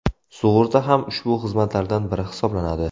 Sug‘urta ham ushbu xizmatlardan biri hisoblanadi.